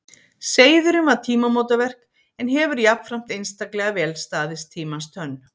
Seiðurinn var tímamótaverk en hefur jafnframt einstaklega vel staðist tímans tönn.